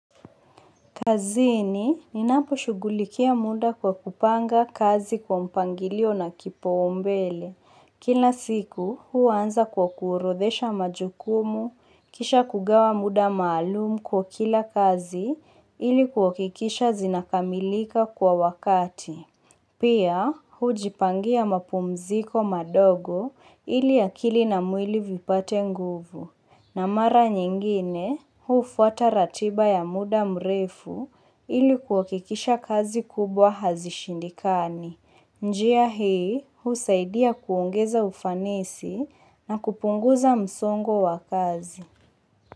Kazini, ninaposhughulikia muda kwa kupanga kazi kwa mpangilio na kipaumbele. Kila siku, huanza kwa kuorodhesha majukumu, kisha kugawa muda maalumu kwa kila kazi, ili kuhakikisha zinakamilika kwa wakati. Pia, hujipangia mapumziko madogo ili akili na mwili vipate nguvu. Na mara nyingine hufuata ratiba ya muda mrefu ili kuhakikisha kazi kubwa hazishindikani. Njia hii husaidia kuongeza ufanisi na kupunguza msongo wa kazi.